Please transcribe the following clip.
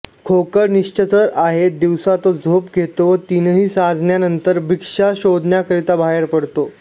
खोकड निशाचर आहे दिवसा तो झोप घेतो व तिन्हीसांजेनंतर भक्ष्य शोधण्याकरिता बाहेर पडतो